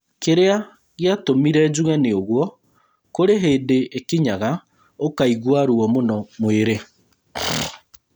Kĩrĩa gĩatũmire njuge nĩũgo, kũrĩ hĩndĩ ĩkinyaga ũkaigua ruo muno mwĩrĩ